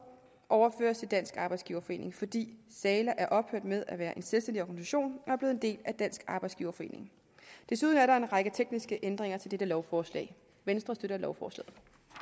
overføres til dansk arbejdsgiverforening fordi sala er ophørt med at være en selvstændig organisation og er blevet en del af dansk arbejdsgiverforening desuden er der en række tekniske ændringer til dette lovforslag venstre støtter lovforslaget